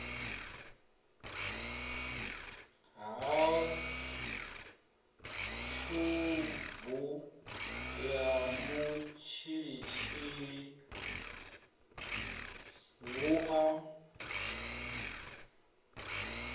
ha tshubu ya mutshilitshili vhua